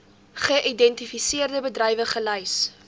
geïdentifiseerde bedrywe gelys